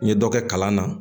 N ye dɔ kɛ kalan na